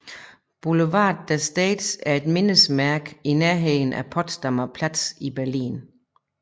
Boulevard der Stars er et mindesmærke i nærheden af Potsdamer Platz i Berlin